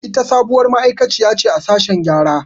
Ita sabuwar ma'aiƙaciya ce a sashen gƴara.